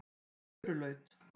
Furulaut